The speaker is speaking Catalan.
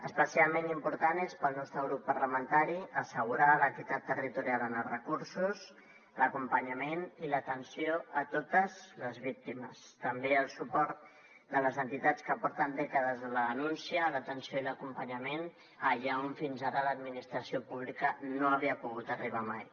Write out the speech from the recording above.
especialment important és pel nostre grup parlamentari assegurar l’equitat territorial en els recursos l’acompanyament i l’atenció a totes les víctimes també el suport de les entitats que porten dècades en la denúncia l’atenció i l’acompanyament allà on fins ara l’administració pública no havia pogut arribar mai